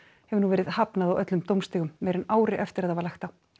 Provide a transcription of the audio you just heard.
hefur nú verið hafnað á öllum dómstigum meira en ári eftir að það var lagt á